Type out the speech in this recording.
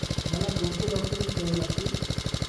मला कोणते डाॅक्युमेंटस् द्यावे लागतील?